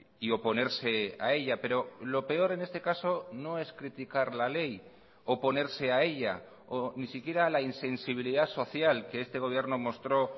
y oponerse a ella pero lo peor en este caso no es criticar la ley oponerse a ella o ni siquiera la insensibilidad social que este gobierno mostró